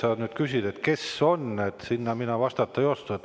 Kes see nimeliselt on, sellele mina vastata ei oska.